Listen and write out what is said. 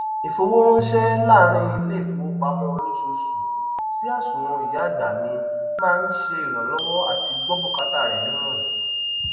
ìfowóránsẹ láàrín iléìfowópamọ olóṣooṣù sí àsùwọn ìyá àgbà mi máa ń ṣe ìrànlọwọ àti gbọ bùkátà rẹ nírọrùn